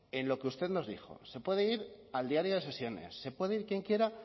en lo que usted nos dijo se puede ir al diario de sesiones se puede quien quiera